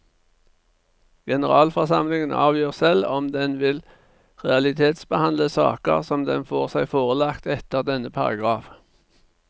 Generalforsamlingen avgjør selv om den vil realitetsbehandle saker som den får seg forelagt etter denne paragraf.